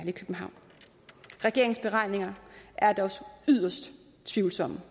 i københavn regeringens beregninger er da også yderst tvivlsomme